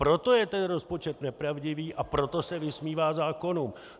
Proto je ten rozpočet nepravdivý, a proto se vysmívá zákonům.